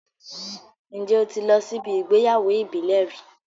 Ǹjẹ́ o ti lọ síbi ìgbéyàwó ìbílẹ̀ rí?